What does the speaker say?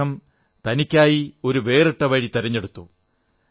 അദ്ദേഹം തനിക്കായി ഒരു വേറിട്ട വഴി തെരഞ്ഞെടുത്തു